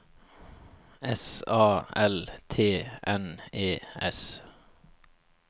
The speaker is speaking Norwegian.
S A L T N E S